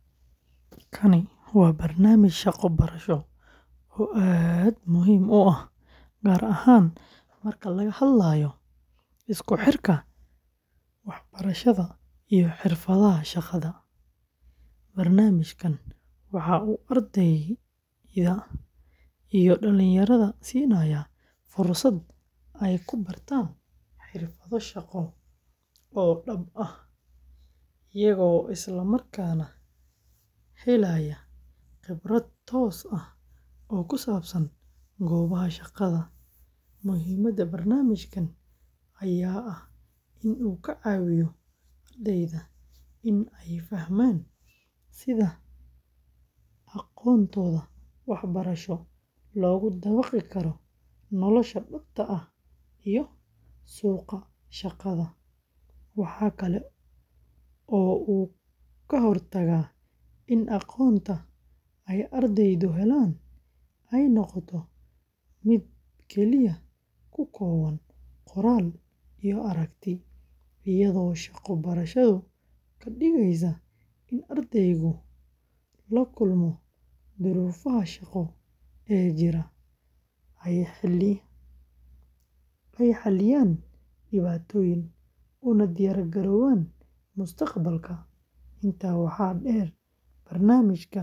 Kani waa barnaamij shaqo-barasho oo aad muhiim u ah, gaar ahaan marka laga hadlayo isku xirka waxbarashada iyo xirfadaha shaqada. Barnaamijkan waxa uu ardayda iyo dhallinyarada siinayaa fursad ay ku bartaan xirfado shaqo oo dhab ah, iyaga oo isla markaana helaya khibrad toos ah oo ku saabsan goobaha shaqada. Muhiimadda barnaamijkan ayaa ah in uu ka caawiyo ardayda in ay fahmaan sida aqoontooda waxbarasho loogu dabaqi karo nolosha dhabta ah iyo suuqa shaqada. Waxa kale oo uu ka hortagaa in aqoonta ay ardaydu helaan ay noqoto mid keliya ku kooban qoraal iyo aragti, iyadoo shaqo-barashadu ka dhigeyso in ardaygu la kulmo duruufaha shaqo ee jira, ay xalliyaan dhibaatooyin, una diyaargaroobaan mustaqbalka. Intaa waxaa dheer, barnaamijkan wuxuu sare u qaadaa kalsoonida ardayda.